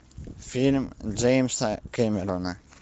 фильм джеймса кэмерона